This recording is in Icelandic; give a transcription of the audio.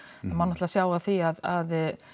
má náttúrulega sjá af því að